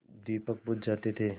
दीपक बुझ जाते थे